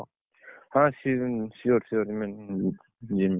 ହଁ ସି~ sure ମୁଁ ଯିବି, ଯିବି।